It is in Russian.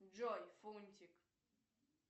джой фунтик